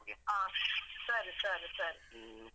ಹಾ ಸರಿ ಸರಿ ಸರಿ.